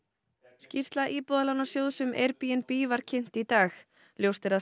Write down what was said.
skýrsla Íbúðalánasjóðs um Airbnb var kynnt í dag ljóst er að